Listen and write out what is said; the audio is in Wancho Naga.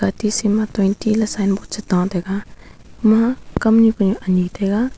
tisi ma le sign board chu tah taiga ema kamnyi kunyak anyi taiga.